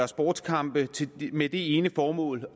sportskampe med det ene formål